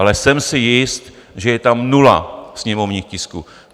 Ale jsem si jist, že je tam nula sněmovních tisků.